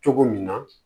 Cogo min na